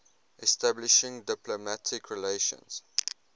establishing diplomatic relations